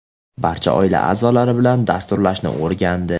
barcha oila a’zolari bilan dasturlashni o‘rgandi.